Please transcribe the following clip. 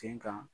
Sen kan